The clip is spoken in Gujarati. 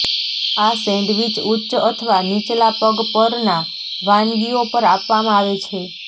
આ સેન્ડવિચ ઉચ્ચ અથવા નીચલા પગ પરના વાનગીઓ પર આપવામાં આવે છે